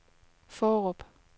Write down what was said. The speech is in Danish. Fårup